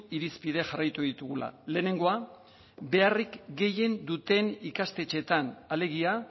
irizpide jarraitu ditugula lehenengoa beharrik gehien duten ikastetxeetan alegia